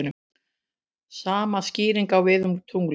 Sama skýring á við um tunglið.